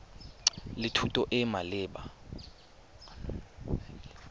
le thuto e e maleba